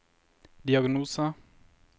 diagnose